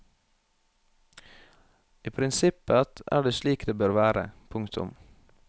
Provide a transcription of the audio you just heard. I prinsippet er det slik det bør være. punktum